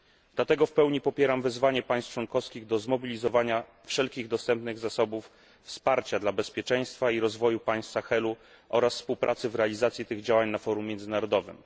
Dlatego w pełni popieram wezwanie państw członkowskich do zmobilizowania wszelkich dostępnych zasobów wsparcia dla bezpieczeństwa i rozwoju państw Sahelu oraz współpracy w realizacji tych działań na forum międzynarodowym.